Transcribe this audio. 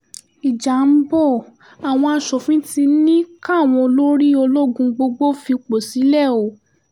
ìjà ń bọ́ àwọn asòfin ti ní káwọn olórí ológun gbogbo fipò sílẹ̀ o